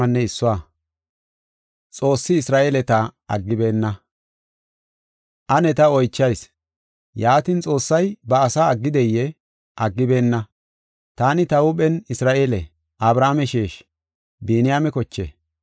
Ane ta oychayis: yaatin, Xoossay ba asaa aggideyee? Aggibeenna! Taani ta huuphen Isra7eele; Abrahaame sheeshi; Biniyaame koche.